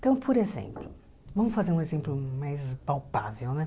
Então, por exemplo, vamos fazer um exemplo mais palpável, né?